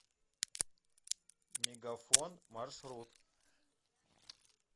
мегафон маршрут